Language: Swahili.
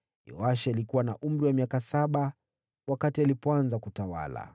Yoashi alikuwa na umri wa miaka saba alipoanza kutawala.